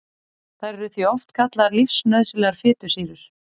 Þær eru því oft kallaðar lífsnauðsynlegar fitusýrur.